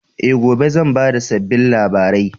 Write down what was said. E, gobe zan ba da sabbin labarai.